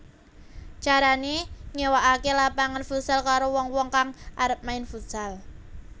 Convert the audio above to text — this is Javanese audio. Carané nyéwakaké lapangan futsal karo wong wong kang arep main futsal